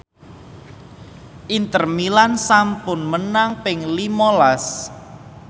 Inter Milan sampun menang ping lima las